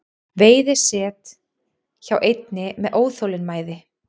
Veiði set hjá einni með óþolinmæði